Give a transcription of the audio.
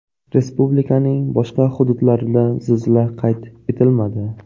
Respublikaning boshqa hududlarida zilzila qayd etilmadi.